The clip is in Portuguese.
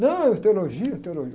Não, é teologia, teologia.